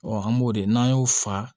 an b'o de n'an y'o fa